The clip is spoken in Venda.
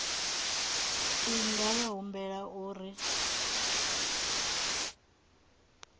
i nga vha humbela uri